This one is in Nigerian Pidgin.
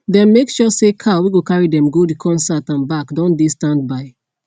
dem make sure say car whey go carry dem go d concert and back don dey standby